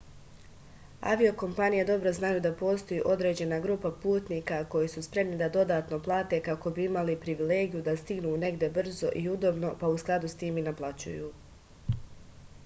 avio-kompanije dobro znaju da postoji određena grupa putnika koji su spremni da dodatno plate kako bi imali privilegiju da stignu negde brzo i udobno pa u skladu s tim i naplaćuju